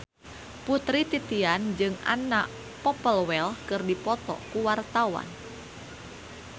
Putri Titian jeung Anna Popplewell keur dipoto ku wartawan